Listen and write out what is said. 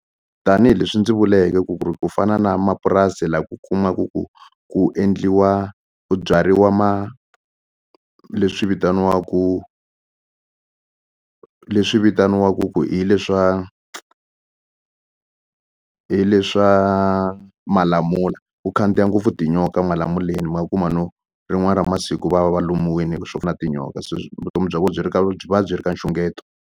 Tanihileswi ndzi vuleke ku ku ri ku fana na mapurasi la ku kumaku ku ku endliwa ku byariwa leswi vitaniwaku leswi vitaniwaku ku hi le swa hi le swa malamula ku khandziya ngopfu tinyoka malamuleni ma kuma no rin'wana ra masiku va va va lumiwini hi swo na tinyoka vutomi bya vo byi ri ka byi va byi ri ka nxungeto.